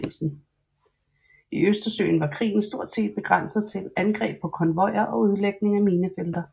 I Østersøen var krigen stort set begrænset til angreb på konvojer og udlægning af minefelter